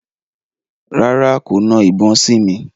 Rárá, kò na ìbọn sí mi.